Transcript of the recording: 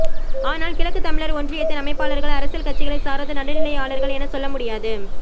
ஆனால் கிழக்கு தமிழர் ஒன்றியத்தின் அமைப்பாளர்கள் அரசியல் கட்சிகளை சாராத நடுநிலையாளர்கள் என சொல்ல முடியாது